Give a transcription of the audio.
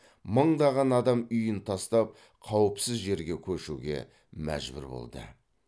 мыңдаған адам үйін тастап қауіпсіз жерге көшуге мәжбүр болды